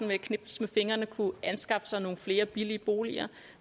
med et knips med fingrene kunne anskaffe sig nogle flere billige boliger